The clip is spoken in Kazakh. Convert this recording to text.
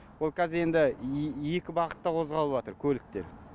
ол қазір енді екі бағытта қозғалыватыр көліктер